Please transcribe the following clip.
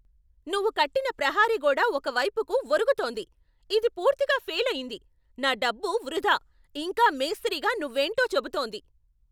నువ్వు కట్టిన ప్రహరిగోడ ఒక వైపుకు వరుగుతోంది. ఇది పూర్తిగా ఫేలయింది, నా డబ్బు వృధా, ఇంకా మేస్త్రిగా నువ్వేంటో చెబుతోంది.